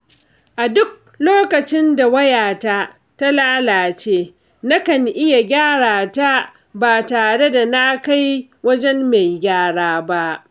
A duk lokacin da wayata ta lalace, nakan iya gyara ta ba tare da na kai wajen mai gyara ba.